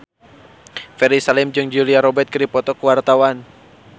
Ferry Salim jeung Julia Robert keur dipoto ku wartawan